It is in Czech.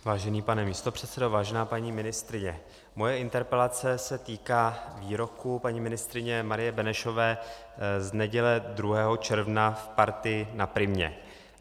Vážený pane místopředsedo, vážená paní ministryně, moje interpelace se týká výroků paní ministryně Marie Benešové z neděle 2. června v Partii na Primě.